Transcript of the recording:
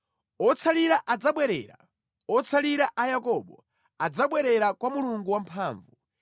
Otsalira adzabwerera, otsalira a Yakobo adzabwerera kwa Mulungu Wamphamvu.